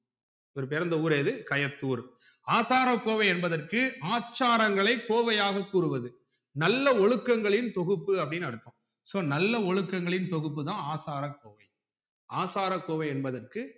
இவர் பிறந்த ஊர் எது கயத்தூர் ஆசாரகோவை என்பதற்கு ஆச்சாரங்கள கோவையாக கூறுவது நல்ல ஒழுக்கங்களின் தொகுப்பு அப்டின்னு அர்த்தம் so நல்ல ஒழுக்கங்களின் தொகுப்பு தான் ஆசார கோவை ஆசாரகோவை என்பதற்கு